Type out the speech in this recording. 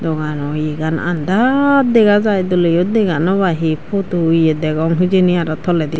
doganoeyagan andar degajai dole ow dega no pai he photo eya degong hejani aro toledi.